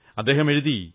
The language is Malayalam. അദ്ദേഹം എഴുതി